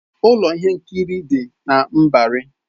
Ụlọ ihe nkiri dị na Mbari.